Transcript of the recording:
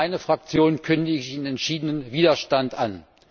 Für meine Fraktion kündige ich Ihnen entschiedenen Widerstand an.